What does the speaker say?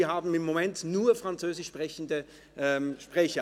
Wir haben im Moment nur französischsprechende Redner.